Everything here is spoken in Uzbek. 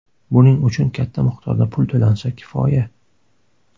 Buning uchun katta miqdorda pul to‘lansa, kifoya.